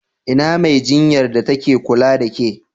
Ina Mai jinyar da ta ke kula da ƙe?